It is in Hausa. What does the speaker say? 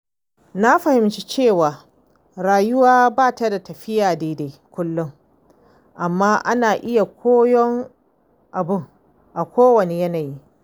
Na fahimci cewa rayuwa ba ta tafiya daidai kullum, amma ana iya koyon abu a kowanne yanayi.